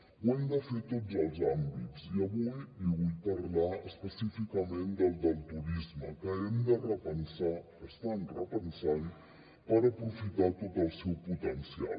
ho hem de fer a tots els àmbits i avui li vull parlar específicament del del turisme que hem de repensar que estan repensant per aprofitar tot el seu potencial